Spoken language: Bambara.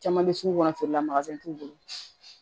Caman bɛ sugu kɔnɔ feere la t'u bolo